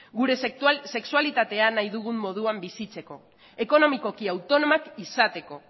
gure sexualitatea nahi dugun moduan bizitzeko ekonomikoki autonomoak izateko